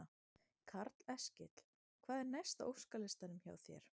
Karl Eskil: Hvað er næst á óskalistanum hjá þér?